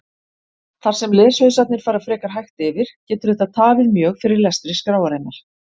Þar sem leshausarnir fara frekar hægt yfir getur þetta tafið mjög fyrir lestri skráarinnar.